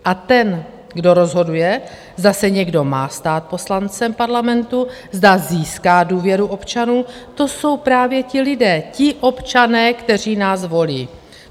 A ten, kdo rozhoduje, zda se někdo má stát poslancem parlamentu, zda získá důvěru občanů, to jsou právě ti lidé, ti občané, kteří nás volí.